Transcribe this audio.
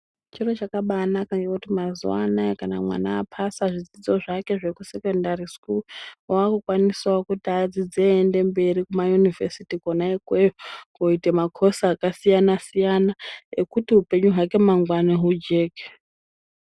Chiro chakabaanaka ngekuti mazuwaanaya kana mwana apasa zvidzidzo zvake zvekusekondari wakukwanisao kuti adzidze eiende mberi kuma yunivhesiti kona ikweyo koita makosi akasiyana siyana ekuti upenyu hwake mangwani hujeke.